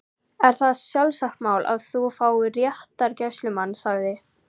Það er sjálfsagt mál að þú fáir réttargæslumann sagði